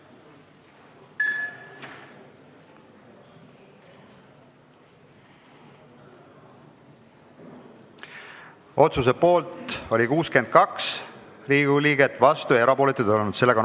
Hääletustulemused Otsuse poolt oli 62 Riigikogu liiget, vastuolijaid ega erapooletuid ei olnud.